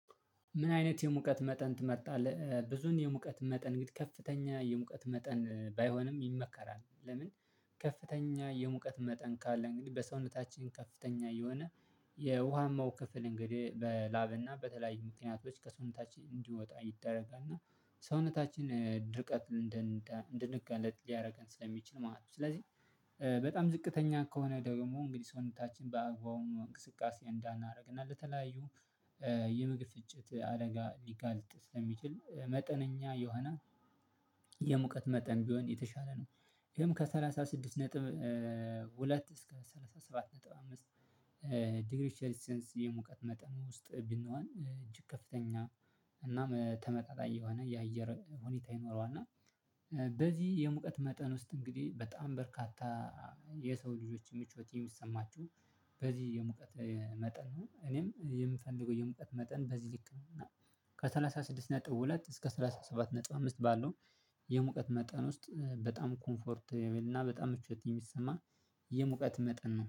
ምን አይነት የሙቀት መጠን ትመርጣለህ ብዙን የሙቀት መጠን ከፍተኛ የሙቀት መጠን ባይሆንም ይመከራል ለምን? ከፍተኛ የሙቀት መጠን ካለ በሰውነታችን ከፍተኛ የሆነ የውሃማው ክፍል እንግዲህ በላብና በተለያዩ ምክንያቶች ከሰውነታችን እንዲወጣ ይደረጋል ሰውነታችን ድርቀት እንድንጋለጥ ሊያደርግ ስለሚችል ማለት ነው። ስለዚህ በጣም ዝቅተኛ ከሆነ ደግሞ እንግዲህ ሰውነታችን በአግባቡ እንቅስቃሴ እንዳናደርግና ለተለያዩ የምግብ ፍጭት አደጋ ሊጋልጥ ስለሚችል መጠነኛ የሆነ የሙቀት መጠን ቢሆን የተሻለ ነው። ግን ከሠላሳ ስድስት ነጥብ ሁለት ዲግሪ ሴሊሰንስ መጠን ውስጥ ይገኛል እጅግ ከፍተኛ እና ተመጣጣኝ የሆነ የአየር ሁኔታ ይኖረዋል። እና በጣም ዝቅተኛ ከሆነ ደግሞ ሰውነታችን በአግባቡ እንቅስቃሴ እንዳናደርግና ለተለያዩ የምግብ ፍጭት አደጋ ሊጋልጥ ስለሚችል መጠነኛ የሆነ የሙቀት መጠን ቢሆን የተሻለ ነው። ግን ከሠላሳ ስድስት ነጥብ ሁለት ከ ሰላሳ ስድስት ነጥብ ሁለት እስከ ሰላሳ ሰባት ነጥብ አምስት ባለው የሙቀት መጠን ውስጥ በጣም ኮምፎርት የሌለው እና በጣም ሙቀት ስለሚሰማ የሙቀት መጠን